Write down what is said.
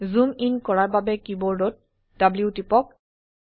জুম in কৰাৰ বাবে কীবোৰ্ডত W টিপক